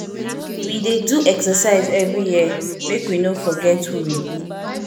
we dey do exercise every year make we no forget who we be